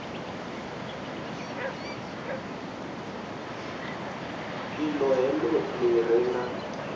iṱo heḽo ḽi re na